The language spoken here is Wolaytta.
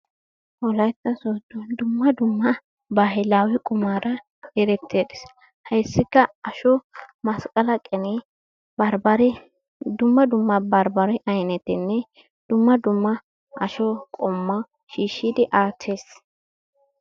Wolaitta sodon dumma dumma bahilawe qumaara erettees. Hayssikka asho masqala qene barbare dumma dumma barbare aynettenne dumma dumma asho qommo shiishshidi attees.